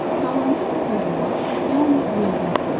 Tamamilə doğrular yalnız riyaziyyatda olur.